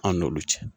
An n'olu cɛ